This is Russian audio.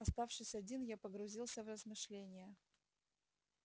оставшись один я погрузился в размышление